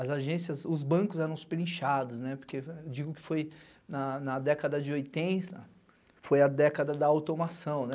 as agências, os bancos eram superinchados, porque eu digo que foi na década de oitenta, foi a década da automação.